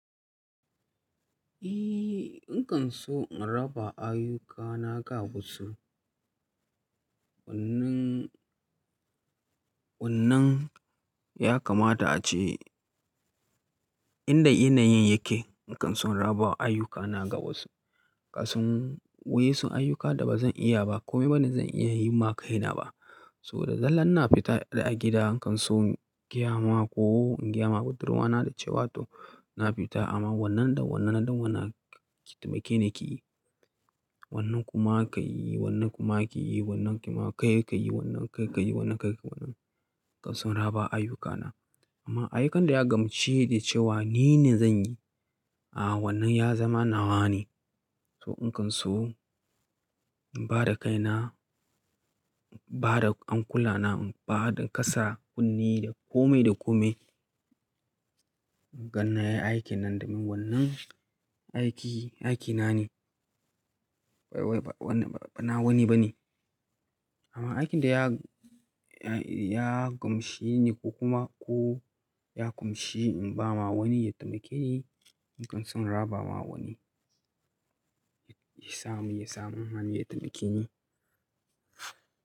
Eh, in kan so in raba ayyukana ga wasu. Wannan ya kamata a ce inda yanayin yake. In kan so in raba ayyukana ga wasu, ƙasan wa yan su ayyuka da ba zan iya ba, kome ba ni zan iya yi ma kaina ba. So da zalla na fita a gida in kan so in gya ma ko in gya ma budurwana da cewa to na fita amma wannan da wannan da wannan da wannan da taimake na ke yi. Wannan kuma ka yi, wannan kuma ka yi, wannan kuma kai ka yi, wannan kai ka yi, wannan kai ka yi. In kan so in raba ayyukana. Amma aikin da ya gamshine da cewa ni ne zan yi, a wannan ya zama nawa ne. So in kan so in ba da kaina, in ba da hankula na, in ba da kasa kunne da kome da kome. Ganna ya yi aikin nan da min wannan aiki, aikina ne. Bana wani ba ne. Amma aikin da ya gamshi ne ko kuma ko ya kumshi in ba ma wani ya taimake ni, in kan so in raba ma wani, ya samu, ya samu hani ya taimake ni.